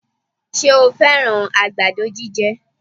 Ṣe o fẹ́rán àgbàdo jíjẹ?